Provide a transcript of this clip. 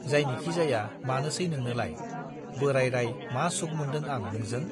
जायनिखि जाया मानोसै नोंनोलाय, बोराइराइ मा सुख मोनदों आं नोंजों?